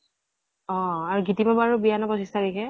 অ । আৰু গিতিমা বাৰু বিয়া ন পঁচিছ তাৰিখে ?